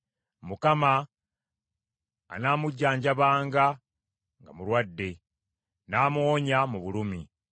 Mukama anaamujjanjabanga nga mulwadde; n’amuwonya mu bulumi.